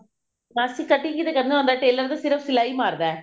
ਮਾਸੀ cutting ਹੀ ਤੇ ਕਰਨਾ ਹੁੰਦਾ tailor ਤਾਂ ਸਿਰਫ ਸਲਾਈ ਮਾਰਦਾ